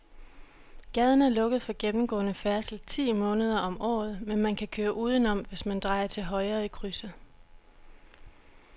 Gaden er lukket for gennemgående færdsel ti måneder om året, men man kan køre udenom, hvis man drejer til højre i krydset.